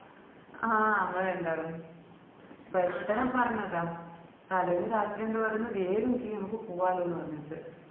ആഹ് നമ്മള് രണ്ടാളും പെട്ടന്ന് പറഞ്ഞതാ തലേന്ന് രാത്രി ഇണ്ട് പറയന്ന വേഗം കീയ് അമ്മക്ക് പോവാലോന്ന് പറഞ്ഞിട്ട്